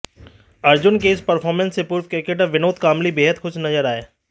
अर्जुन के इस परफॉर्मेंस से पूर्व क्रिकेटर विनोद कांबली बेहद खुश नजर आए